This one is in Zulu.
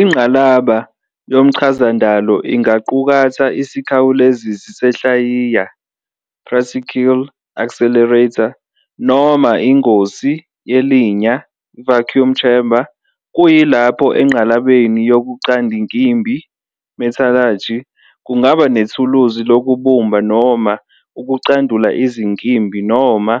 INgqalaba yomchazandalo ingaqukatha isikhawulezisi senhlayiya, "particle accelerator" noma ingosi yelinya, "vacuum chamber", kuyilapho engqalabeni yokucandinkimbi, "metallurgy" kungaba nethuluzi lokubumba noma ukucandula izinkimbi noma